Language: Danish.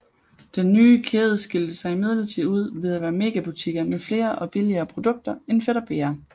Den nye kæde skilte sig imidlertid ud ved at være megabutikker med flere og billigere produkter end Fætter BR